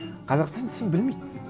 қазақстан десең білмейді